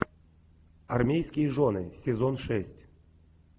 армейские жены сезон шесть